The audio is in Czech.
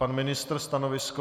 Pan ministr stanovisko?